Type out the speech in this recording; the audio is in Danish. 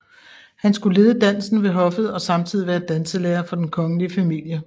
Han skulle lede dansen ved hoffet og samtidig være danselærer for den kongelige familie